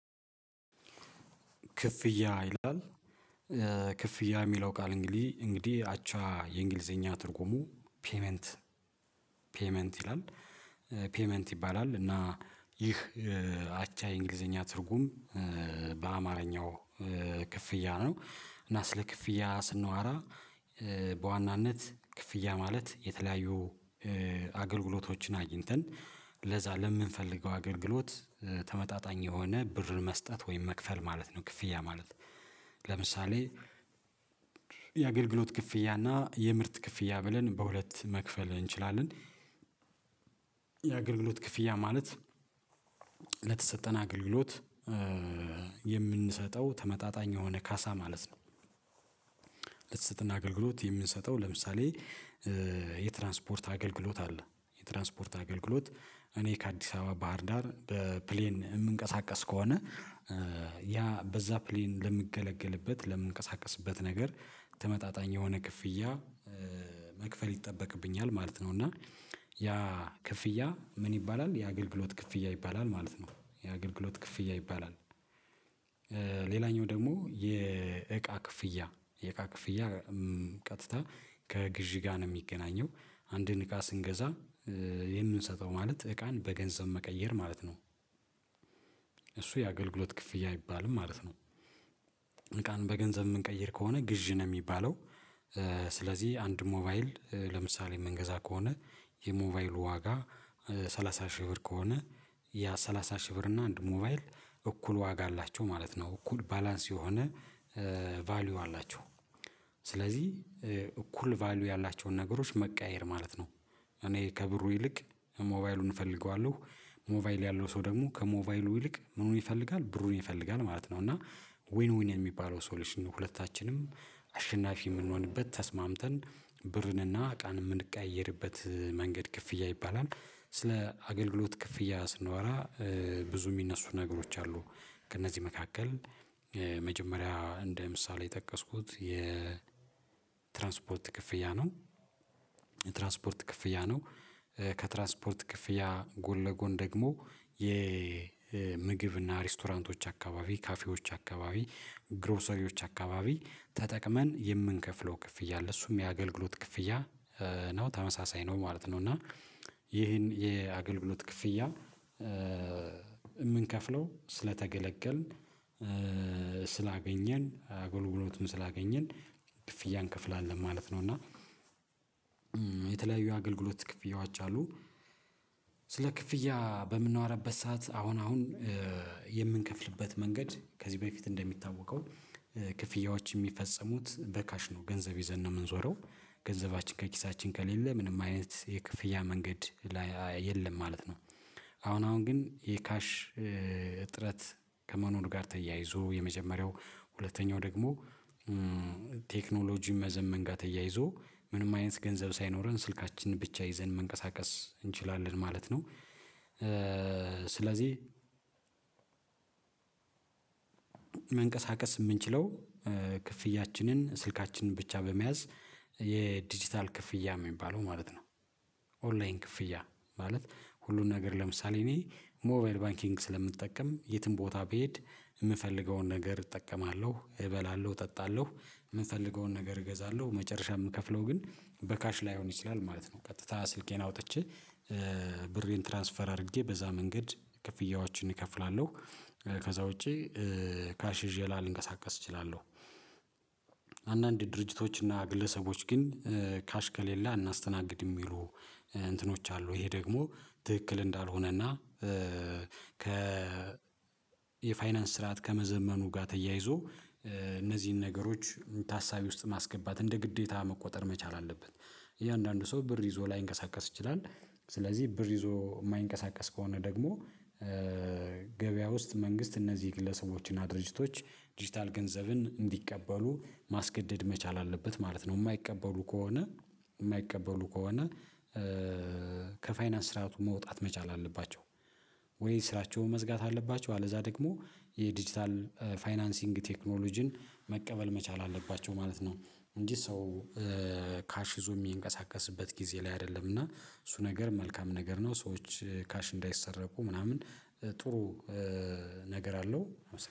ክፍያ ይላል። ክፍያ የሚለው ቃል እንግዲህ እንግዲህ አቻ የእንግሊዘኛ ትርጉሙ ፔይመንት ፔይመንት ይላል ፔይመንት ይባላል። እና ይህ አቻ የእንግሊዘኛ ትርጉም በአማርኛው ክፍያ ነው። እና ስለ ክፍያ ስንዋራ በዋናነት ክፍያ ማለት የተለያዩ አገልግሎቶችን አግኝተን ለዛ ለምንፈልገው አገልግሎት ተመጣጣኝ የሆነ ብር መስጠት ወይም መክፈል ማለት ነው። ክፍያ ማለት ለምሳሌ የአገልግሎት ክፍያ እና የምርት ክፍያ ብለን በሁለት መክፈል እንችላለን። የአገልግሎት ክፍያ ማለት ለተሰጠን አገልግሎት የምንሰጠው ተመጣጣኝ የሆነ ካሳ ማለት ነው። ለተሰጠን አገልግሎት የምንሰጠው ለምሳሌ የትራንስፖርት አገልግሎት አለ የትራንስፖርት አገልግሎት እኔ ከአዲስ አበባ ባህር ዳር በፕሌን የምንቀሳቀስ ከሆነ ያ በዛ ፕሌን ለምንገለገልበት ለምንቀሳቀስበት ነገር ተመጣጣኝ የሆነ ክፍያ መክፈል ይጠበቅብኛል ማለት ነው። እና ያ ክፍያ ምን ይባላል? የአገልግሎት ክፍያ ይባላል ማለት ነው የአገልግሎት ክፍያ ይባላል። ሌላኛው ደግሞ የእቃ ክፍያ የእቃ ክፍያ ቀጥታ ከግዢ ጋር ነው የሚገናኘው። አንድን እቃ ስንገዛ የምንሰጠው ማለት እቃን በገንዘብ መቀየር ማለት ነው። እሱ የአገልግሎት ክፍያ አይባልም ማለት ነው። እቃን በገንዘብ የምንቀይር ከሆነ ግዥን የሚባለው። ስለዚህ አንድ ሞባይል ለምሳሌ የምንገዛ ከሆነ የሞባይሉ ዋጋ ሰላሳ ሺህ ብር ከሆነ ያ ሰላሳ ሺህ ብር እና አንዱ ሞባይል እኩል ዋጋ አላቸው ማለት ነው። እኩል ባላንስ የሆነ ቫልዩ አላቸው ስለዚህ እኩል ቫልዩ ያላቸውን ነገሮች መቀያየር ማለት ነው። እኔ ከብሩ ይልቅ ሞባይሉን እፈልገዋለሁ ሞባይል ያለው ሰው ደግሞ ከሞባይሉ ይልቅ ምኑን ይፈልጋል ብሩን ይፈልጋል ማለት ነው። እና ዊን ዊን የሚባለው ሶሉሽን ነው። ሁለታችንም አሸናፊ የምንሆንበት ተስማምተን ብርንና እቃን የምንቀያይርበት መንገድ ክፍያ ይባላል። ስለ አገልግሎት ክፍያ ስንወራ ብዙ የሚነሱ ነገሮች አሉ ከእነዚህ መካከል መጀመሪያ እንደ ምሳሌ የጠቀስኩት የ ትራንስፖርት ክፍያ ነው። ትራንስፖርት ክፍያ ነው። ከትራንስፖርት ክፍያ ጎን ለጎን ደግሞ የምግብ እና ሬስቶራንቶች አካባቢ ካፌዎች አካባቢ ግሮሰሪዎች አካባቢ ተጠቅመን የምንከፍለው ክፍያ አለ። እሱም የአገልግሎት ክፍያ ነው ተመሳሳይ ነው ማለት ነው። እና ይህን የአገልግሎት ክፍያ የምንከፍለው ስለተገለገልን ስላገኘን አጎልጉሎቱን ስላገኘን ክፍያ እንከፍላለን ማለት ነው። እና የተለያዩ አገልግሎት ክፍያው አቻ አሉ። ስለ ክፍያ በምናወራበት ሰዓት አሁን አሁን የምንከፍልበት መንገድ ከዚህ በፊት እንደሚታወቀው ክፍያዎች የሚፈጽሙት በካሽ ነው። ገንዘብ ይዘን ነው የምንዞረው ገንዘባችን ከኪሳችን ከሌለ ምንም አይነት የክፍያ መንገድ የለም ማለት ነው። አሁን አሁን ግን የካሽ እጥረት ከመኖሩ ጋር ተያይዞ የመጀመሪያው ሁለተኛው ደግሞ መዘመን ጋር ተያይዞ ምንም አይነት ገንዘብ ሳይኖረን ስልካችንን ብቻ ይዘን መንቀሳቀስ እንችላለን ማለት ነው። ስለዚህ መንቀሳቀስ የምንችለው ክፍያችንን ስልካችንን ብቻ በመያዝ የዲጂታል ክፍያ የሚባለው ማለት ነው። ኦንላይን ክፍያ ማለት ሁሉን ነገር ለምሳሌ እኔ ሞባይል ባንኪንግ ስለምንጠቀም የትም ቦታ ብሄድ የምፈልገውን ነገር እጠቀማለሁ እበላለሁ እጠጣለሁ የምንፈልገውን ነገር እገዛለሁ መጨረሻ የምከፍለው ግን በካሽ ላይሆን ይችላል ማለት ነው። ቀጥታ ስልኬን አውጥቼ ብሬን ትራንስፈር አድርጌ በዛ መንገድ ክፍያዎችን እከፍላለሁ። ከዛ ውጪ ካሽ ይዤ ላልንቀሳቀስ እችላለሁ። አንዳንድ ድርጅቶች እና ግለሰቦች ግን ካሽ ከሌለ አናስተናግድም የሚሉ እንትኖች አሉ ይሄ ደግሞ ትክክል እንዳልሆነ እና። ከ የፋይናንስ ስርዓት ከመዘመኑ ጋር ተያይዞ እነዚህን ነገሮች ታሳቢ ውስጥ ማስገባት እንደ ግዴታ መቆጠር መቻል አለበት። የእያንዳንዱ ሰው ብር ይዞ ላይንቀሳቀስ ይችላል። ስለዚህ ብር ይዞ የማይንቀሳቀስ ከሆነ ደግሞ ገበያ ውስጥ መንግስት እነዚህ ግለሰቦች እና ድርጅቶች ዲጂታል ገንዘብን እንዲቀበሉ ማስገደድ መቻል አለበት ማለት ነው። የማይቀበሉ ከሆነ የማይቀበሉ ከሆነ ከፋይናንስ ስርዓቱ መውጣት መቻል አለባቸው። ወይ ስራቸውን መዝጋት አለባቸው አለዛ ደግሞ የዲጂታል ፋይናንሲንግ ቴክኖሎጂን መቀበል መቻል አለባቸው ማለት ነው። እንጂ ሰው ካሽ ይዞ የሚንቀሳቀስበት ጊዜ ላይ አይደለም እና እሱ ነገር መልካም ነገር ነው። ሰዎች ካሽ እንዳይሰረቁ ምናምን ጥሩ ነገር አለው